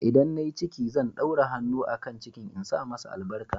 ldan na yi ciki, zan ɗaura hannu a kan cikin insa masa albarka.